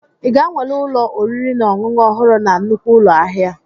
Ị ga-anwale ụlọ oriri na ọṅụṅụ ọhụrụ na nnukwu ụlọ ahịa?